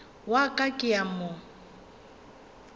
wa ka ke a mo